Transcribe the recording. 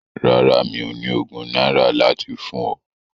Rárá, mi ò ní ogún náírà láti fún ọ.